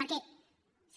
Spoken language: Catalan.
perquè